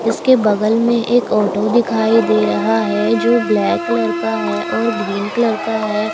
इसके बगल में एक ऑटो दिखाई दे रहा है जो ब्लैक कलर का है और ग्रीन कलर का है।